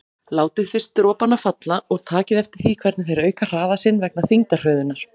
Látið fyrst dropana falla og takið eftir því hvernig þeir auka hraða sinn vegna þyngdarhröðunar.